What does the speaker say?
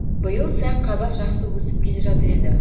биыл сәнқабақ жақсы өсіп келе жатыр еді